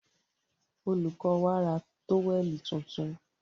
Olùkó wa ra tówẹ̀lì tuntun.